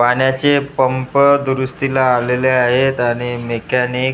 पाण्याचे पंप दुरुस्तीला आलेले आहेत आणि मेकॅनिक --